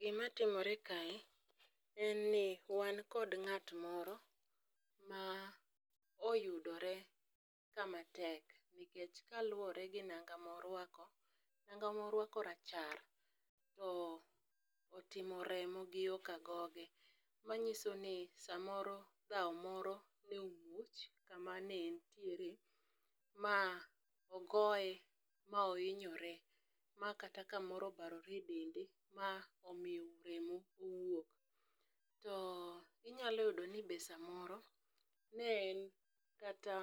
Gimatimore kae en ni wan kod ng'at moro ma oyudore kamatek, nikech kaluwore gi nanga morwako, nanga morwako rachar to otimo remo gi yo kagoge, manyiso ni samoro dhawo moro ne omuoch kama ne entiere ma ogoye ma ohinyore, ma kata kamoro obarore e dende ma omiyo remo owuok, to inyalo yudo ni be samoro ne en kata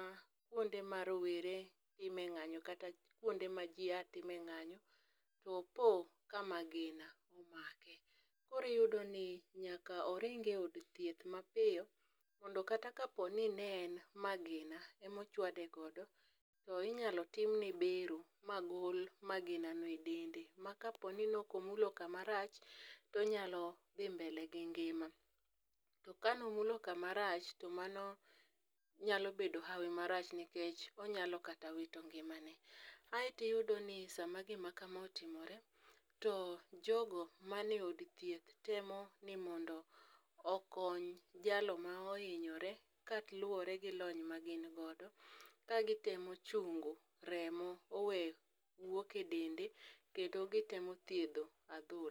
kwonde ma rowere time ng'anyo kata kwonde ma ji a time ng'anyo to opo ka magina omake, koro iyudo ni nyaka oringe od thieth mapiyo mondo kata kaponi ne en magima ema ochawde godo to inyalo timne bero magol magina no e dende ma kaponi nokomulo kamarach tonyalo dhi mbele gi ngima, to kanomulo kamarach, to mano nyalo bedo hawo marach nikech onyalo kata wito ngimane, aeto iyudo ni sama gima kama otimore, to jogo mane od thieth temo ni mondo okony jalo ma ohinyore kaluwore gi lony magin godo ka gitemo chunyo remo owe wuok e dende kendo gitemo thiedho adhola.